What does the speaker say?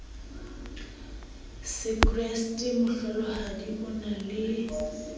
sekreste mohlolohadi o na le